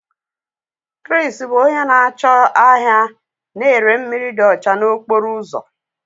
Kris bụ onye na-acho ahia na-ere mmiri dị ọcha n'okporo ụzọ.